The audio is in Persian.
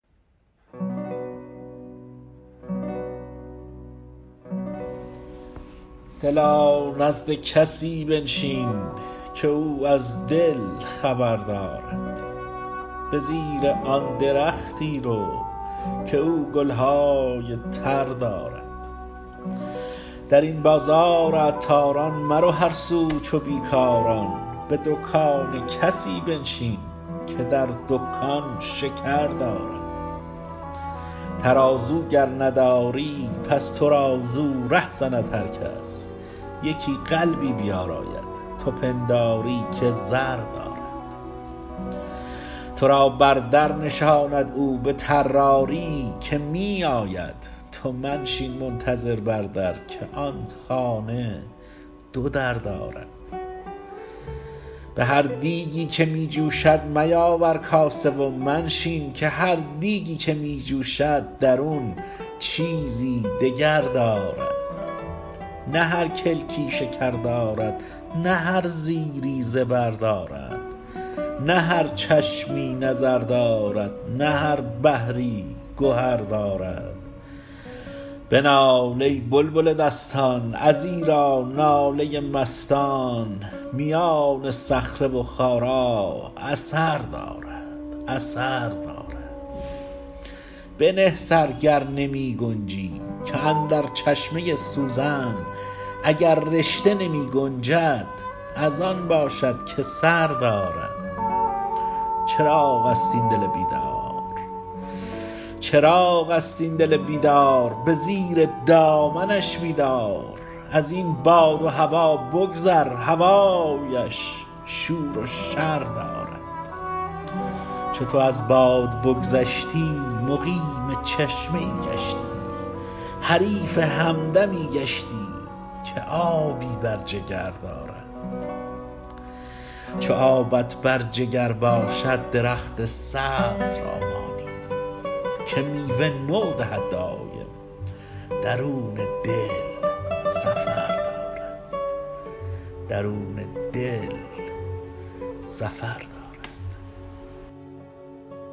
دلا نزد کسی بنشین که او از دل خبر دارد به زیر آن درختی رو که او گل های تر دارد در این بازار عطاران مرو هر سو چو بی کاران به دکان کسی بنشین که در دکان شکر دارد ترازو گر نداری پس تو را زو ره زند هر کس یکی قلبی بیاراید تو پنداری که زر دارد تو را بر در نشاند او به طراری که می آید تو منشین منتظر بر در که آن خانه دو در دارد به هر دیگی که می جوشد میاور کاسه و منشین که هر دیگی که می جوشد درون چیزی دگر دارد نه هر کلکی شکر دارد نه هر زیری زبر دارد نه هر چشمی نظر دارد نه هر بحری گهر دارد بنال ای بلبل دستان ازیرا ناله مستان میان صخره و خارا اثر دارد اثر دارد بنه سر گر نمی گنجی که اندر چشمه سوزن اگر رشته نمی گنجد از آن باشد که سر دارد چراغ است این دل بیدار به زیر دامنش می دار از این باد و هوا بگذر هوایش شور و شر دارد چو تو از باد بگذشتی مقیم چشمه ای گشتی حریف همدمی گشتی که آبی بر جگر دارد چو آبت بر جگر باشد درخت سبز را مانی که میوه نو دهد دایم درون دل سفر دارد